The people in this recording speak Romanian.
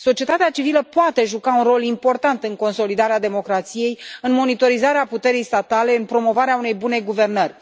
Societatea civilă poate juca un rol important în consolidarea democrației, în monitorizarea puterii statale, în promovarea unei bune guvernări.